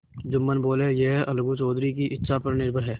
जुम्मन बोलेयह अलगू चौधरी की इच्छा पर निर्भर है